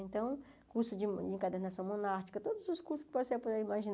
Então, curso de encadernação monárquica, todos os cursos que você puder imaginar.